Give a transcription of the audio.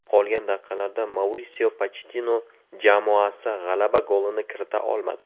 Qolgan daqiqalarda Maurisio Pochettino jamoasi g‘alaba golini kirita olmadi.